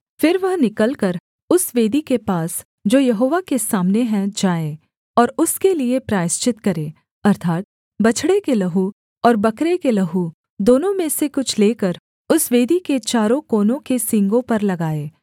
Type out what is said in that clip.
फिर वह निकलकर उस वेदी के पास जो यहोवा के सामने है जाए और उसके लिये प्रायश्चित करे अर्थात् बछड़े के लहू और बकरे के लहू दोनों में से कुछ लेकर उस वेदी के चारों कोनों के सींगों पर लगाए